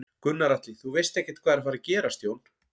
Gunnar Atli: Þú veist ekkert hvað er að fara gerast Jón?